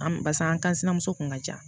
An barisa an ka sinamuso kun ka ca